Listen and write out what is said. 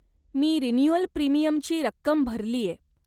मी renewal प्रिमियमची रक्कम भरलीय.